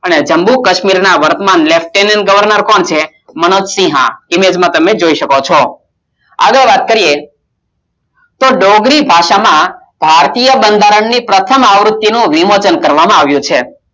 અને જમ્મુ કાશ્મીરના વર્તમાન lieutenant governor કોણ છે મનોજ સિંહા ઈમેજમાં તમે જોઈ શકો છો આગળ વાત કરીએ તો ડોંગરી ભાષામાં ભારતીય બંધારણની પ્રથમ આવૃત્તિ નો વિમોચન કરવામાં આવ્યો છે